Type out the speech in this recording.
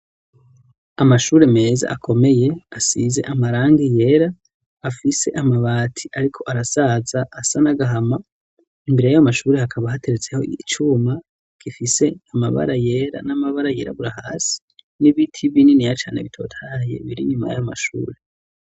amashure meza akomeye asize amarangi yera afise amabati ariko arasaza asa n'agahama imbere yayo mashuri hakaba hateretseho icuma gifise amabara yera n'amabara yirabura hasi n'ibiti bininiya cane bitotahayeye biri nyuma y'amashuri.